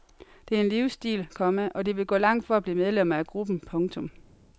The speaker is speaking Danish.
Det er en livsstil, komma og de vil gå langt for at blive medlemmer af gruppen. punktum